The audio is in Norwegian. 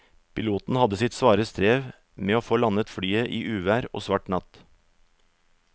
Piloten hadde sitt svare strev med å få landet flyet i uvær og svart natt.